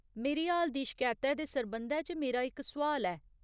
मेरी हाल दी शकैतै दे सरबंधै च मेरा इक सुआल ऐ।